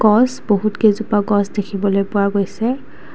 বহুত কেইজোপা গছ দেখিবলৈ পোৱা গৈছে।